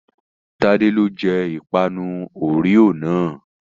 Tádé ló jẹ ìpanu Oreo náà.